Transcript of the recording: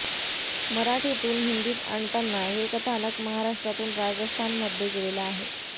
मराठीतून हिंदीत आणताना हे कथानक महाराष्ट्रातून राजस्थानमध्ये गेलेलं आहे